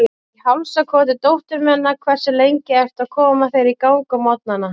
Í hálsakoti dóttur minnar Hversu lengi ertu að koma þér í gang á morgnanna?